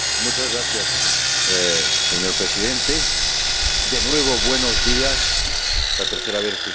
Señor Presidente, de nuevo buenos días, la tercera vez que usted me escucha en este Pleno.